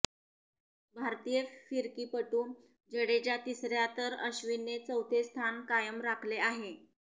भारतीय फिरकीपटू जडेजा तिसऱया तर अश्विनने चौथे स्थान कायम राखले आहे